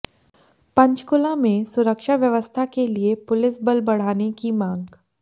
पंचकूला में सुरक्षा व्यवस्था के लिए पुलिस बल बढ़ाने की मांग